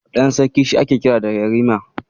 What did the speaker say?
Ɗan sarki shi ake kira da Yarima.